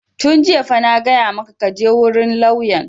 Tun jiya fa na gaya maka ka je wurin lauyan!